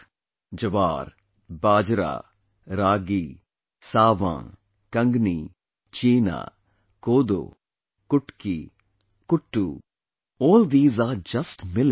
Jowar, Bajra, Ragi, Sawan, Kangni, Cheena, Kodo, Kutki, Kuttu, all these are just Millets